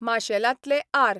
माशेलांतले R.